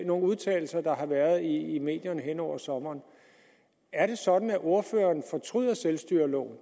nogle udtalelser der har været i medierne hen over sommeren er det sådan at ordføreren fortryder selvstyreloven